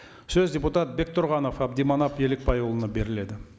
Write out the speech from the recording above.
сөз депутат бектұрғанов әбдіманап елікбайұлына беріледі